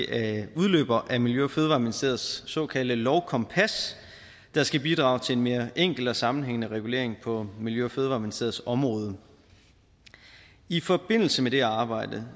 er en udløber af miljø og fødevareministeriets såkaldte lovkompas der skal bidrage til en mere enkel og sammenhængende regulering på miljø og fødevareministeriets område i forbindelse med det arbejde